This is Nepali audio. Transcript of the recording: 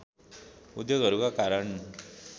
उद्योगहरूका कारण